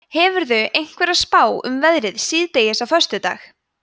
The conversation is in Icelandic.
hefurðu einhverja spá um veðrið síðdegis á föstudag